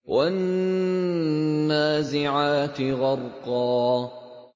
وَالنَّازِعَاتِ غَرْقًا